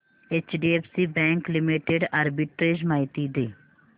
HDFC bank limited arbitrage माहिती दे